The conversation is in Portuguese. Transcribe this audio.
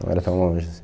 Não era tão longe assim.